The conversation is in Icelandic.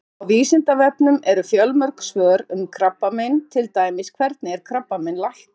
Á Vísindavefnum eru fjölmörg svör um krabbamein, til dæmis: Hvernig er krabbamein læknað?